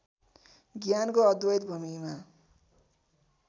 ज्ञानको अद्वैत भूमिमा